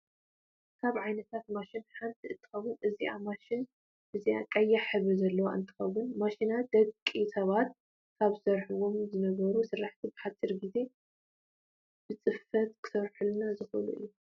ካብ ዓይነታት ማሽናት ሓንቲ እንትኮን እዛ ማሽን እዚኣ ቀይሕ ሕብሪ ዘለዋ እነትከውን ማሽናት ደቂ ሰባት ካብ ዝሰረሕዎ ዝነበሩ ስራሕቲ ብሓፂር ግዜ ብፅፈት ክሰርሑልና ዝክእሉ እዮም።